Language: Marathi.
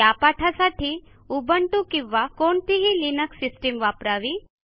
या पाठासाठी उबुंटू किंवा कोणतीही लिनक्स सिस्टीम वापरावी